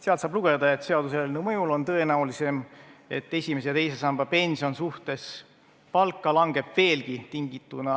Sealt saab lugeda, et seaduseelnõu mõjul on tõenäolisem, et esimese ja teise samba pension suhtena palka langeb veelgi, tingituna